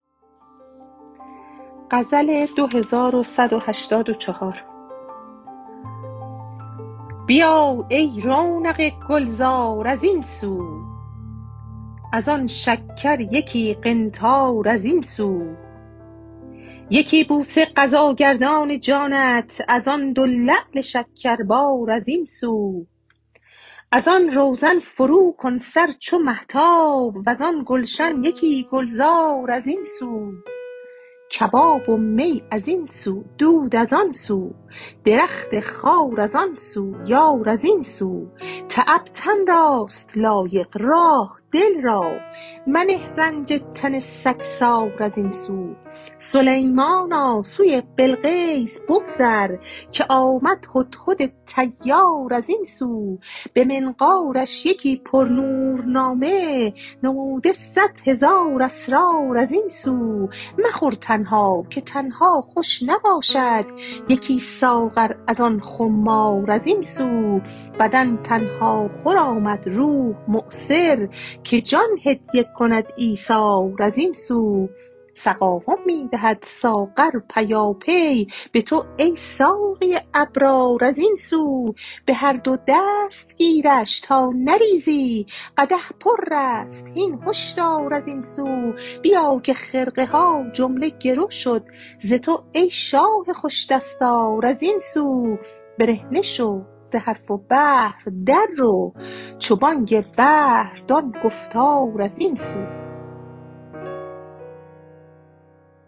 بیا ای رونق گلزار از این سو از آن شکر یکی قنطار از این سو یکی بوسه قضاگردان جانت از آن دو لعل شکربار از این سو از آن روزن فروکن سر چو مهتاب وزان گلشن یکی گلزار از این سو کباب و می از این سو دود از آن سو درخت خار از آن سو یار از این سو تعب تن راست لایق راح دل را منه رنج تن سگسار از این سو سلیمانا سوی بلقیس بگذر که آمد هدهد طیار از این سو به منقارش یکی پرنور نامه نموده صد هزار اسرار از این سو مخور تنها که تنها خوش نباشد یکی ساغر از آن خمار از این سو بدن تنهاخور آمد روح مؤثر که جان هدیه کند ایثار از این سو سقاهم می دهد ساغر پیاپی به تو ای ساقی ابرار از این سو به هر دو دست گیرش تا نریزی قدح پر است هین هشدار از این سو بیا که خرقه ها جمله گرو شد ز تو ای شاه خوش دستار از این سو برهنه شو ز حرف و بحر در رو چو بانگ بحر دان گفتار از این سو